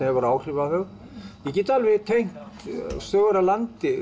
hefur áhrif á þau ég get alveg tengt sögur af landi